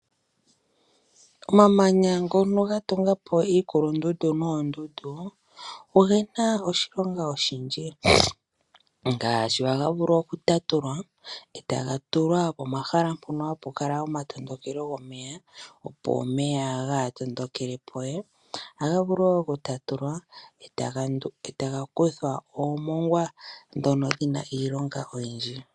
Omamanya ngono ga tungapo iikulundundu noondundu ogena oshilonga oshindji ngaashi ohaga vulu oku tatulwa etaga tulwa pomahala mpono hapu kala omatondokelo gomeya opo omeya kaaga matukilepo we . Ohaga vulu woo okutatulwa etaga kuthwa oomongwa ndhono dhina iilonga oyindji.